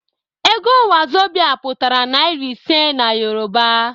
Ego 'wazobia' pụtara naira iri ise n'Yoruba